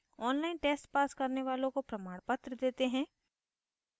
online test pass करने वालों को प्रमाणपत्र देते हैं